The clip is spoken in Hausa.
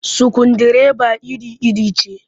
Sukundireba iri-iri ce